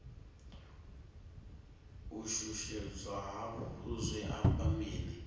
u shushedzwa hafhu zwi amba mini